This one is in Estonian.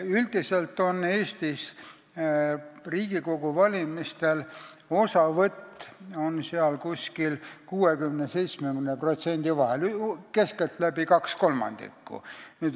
Üldiselt on Eestis Riigikogu valimistel osavõtt 60–70% vahel, keskeltläbi kaks kolmandikku.